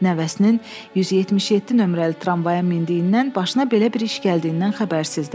Nəvəsinin 177 nömrəli tramvaya mindiyindən, başına belə bir iş gəldiyindən xəbərsizdir.